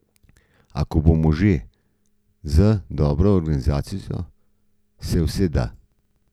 A bomo že, z dobro organiziranostjo se vse da.